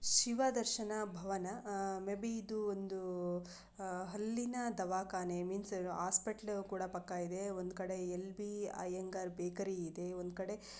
Shiva Darshan Bhavan maybe ಇದು ಒಂದು ಆ ಹಲ್ಲಿನ ದವಾಖಾನೆ ಮೀನ್ಸ್ ಹಾಸ್ಪಿಟಲ್ ಕೂಡ ಪಕ್ಕಇದೆ ಮತ್ತೆ ಒಂದು ಕಡೆ ಎಲ್_ಬಿ ಅಯಂಗಾರ್ ಬೇಕರಿ ಇದೆ ಒಂದು ಕಡೆ --